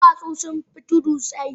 Duwatsu sun fi tuddai tsayi.